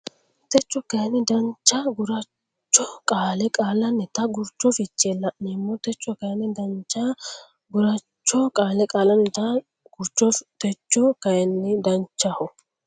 Techo kayinni Danchaho gurcho qaalla qaallannita gurcho fiche la neemmo Techo kayinni Danchaho gurcho qaalla qaallannita gurcho Techo kayinni Danchaho.